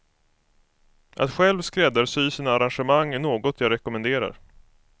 Att själv skräddarsy sina arrangemang är något jag rekommenderar.